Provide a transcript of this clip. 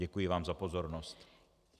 Děkuji vám za pozornost.